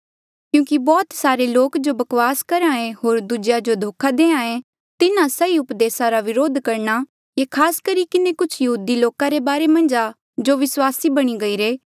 क्यूंकि बौह्त सारे लोका जो वकवास करहे होर दूजेया जो धोखा दे तिन्हा सही उपदेसा रा विरोध करणा ये खास करी किन्हें कुछ यहूदी लोका रे बारे मन्झ आ जो विस्वासी बणी गईरे